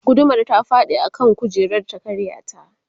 gudumar ta faɗi a kan kujerar ta karya ta